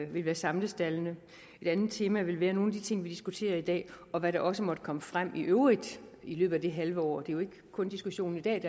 vil være samlestaldene et andet tema vil være nogle af de ting vi diskuterer i dag og hvad der også måtte komme frem i øvrigt i løbet af det halve år det er jo ikke kun diskussionen i dag